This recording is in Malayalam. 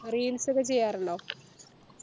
reels ഒക്കെ ചെയ്യാറുണ്ടോ